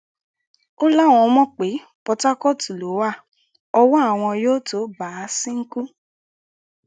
ó láwọn mọ̀ pé pọtákọ́ọ̀tù ló wà ọwọ́ àwọn yóò tóó bà á ṣínkún